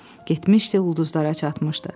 Getmişdi ulduzlara çatmışdı.